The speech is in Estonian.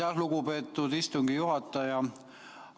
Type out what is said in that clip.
Aitäh, lugupeetud istungi juhataja!